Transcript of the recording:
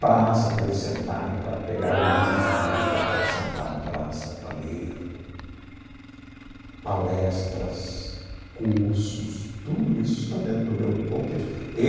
praça para eles sentarem para pegar o livro na biblioteca, e sentar na praça para ler, palestras, cursos, tudo isso está dentro do meu contexto e.